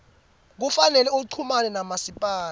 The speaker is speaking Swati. kufanele uchumane namasipala